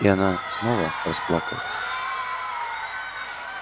и она снова расплакалась